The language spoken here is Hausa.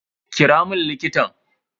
Kira mun likitan.